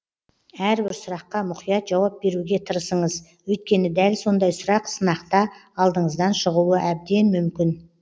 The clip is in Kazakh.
әрбір сұраққа мұқият жауап беруге тырысыңыз өйткені дәл сондай сұрақ сынақта алдыңыздан шығуы әбден мүмкін